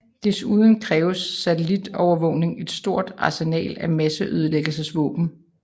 Desuden kræves satellitovervågning og et stort arsenal af masseødelæggelsesvåben